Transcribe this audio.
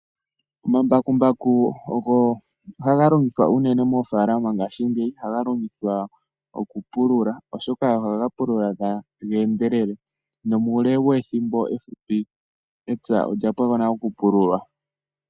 Omambakumbaku ogo haga longithwa unene moofaalama ngaashingeyi, ohaga longithwa okupulula oshoka ohaga pulula taga endelele. Nomuule wethimbo efupi epya olya pwako nale okupululwa.